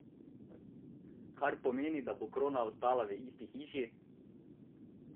Kar pomeni, da bo krona ostala v isti hiši!